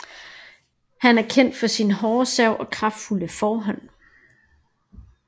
Han er kendt for sin hårde serv og sin kraftfulde forhånd